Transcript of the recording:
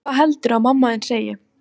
Hvað heldurðu að mamma þín segi?